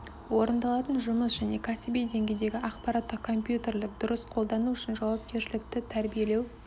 орындалатын жұмыс және кәсіби деңгейдегі ақпараттық компьютерлік дұрыс қолдану үшін жауапкершілікті тәрбиелеу